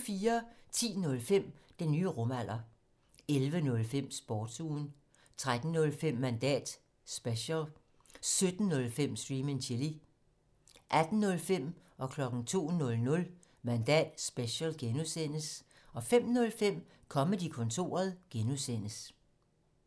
10:05: Den nye rumalder 11:05: Sportsugen 13:05: Mandat special 17:05: Stream and Chill 18:05: Mandat special (G) 02:00: Mandat special (G) 05:05: Comedy-kontoret (G)